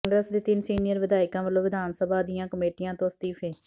ਕਾਂਗਰਸ ਦੇ ਤਿੰਨ ਸੀਨੀਅਰ ਵਿਧਾਇਕਾਂ ਵੱਲੋਂ ਵਿਧਾਨ ਸਭਾ ਦੀਆਂ ਕਮੇਟੀਆਂ ਤੋਂ ਅਸਤੀਫ਼ੇ